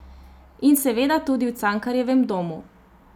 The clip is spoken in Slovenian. In seveda tudi v Cankarjevem domu.